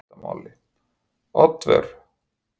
Oddvör, hvað heitir þú fullu nafni?